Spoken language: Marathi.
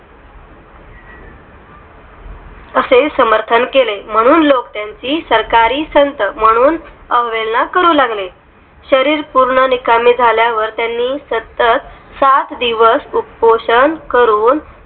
ही समर्थन केले म्हणून लोक त्यांची सरकारी संत म्हणून अवहेलना करू लागले तरी पूर्ण निकामी झाल्यावर आणि सतत सात दिवस उपोषण करून